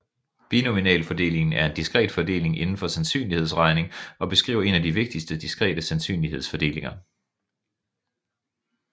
Binomialfordelingen er en diskret fordeling inden for sandsynlighedsregning og beskriver en af de vigtigste diskrete sandsynlighedsfordelinger